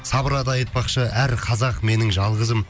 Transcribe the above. сабыр ата айтпақшы әр қазақ менің жалғызым